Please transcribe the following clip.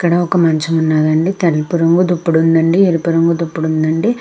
ఇక్కడ వక మచము ఆంది అంది తెలుపు రాగు ఉనది అంది ఇక్కడ అమ్నకు అక్నిపెస్తునది.